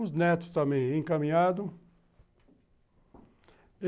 Os netos também encaminhados.